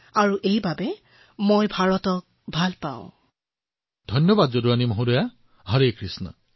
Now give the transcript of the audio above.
প্ৰধানমন্ত্ৰীঃ ধন্যবাদ যদুৰাণী জী হৰে কৃষ্ণ